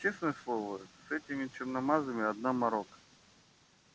честное слово с этими черномазыми одна морока